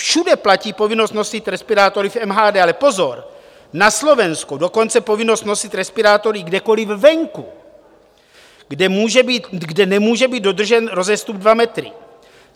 Všude platí povinnost nosit respirátory v MHD, ale pozor, na Slovensku dokonce povinnost nosit respirátory kdekoliv venku, kde nemůže být dodržen rozestup dva metry.